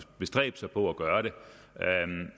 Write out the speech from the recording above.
bestræbe sig på at gøre det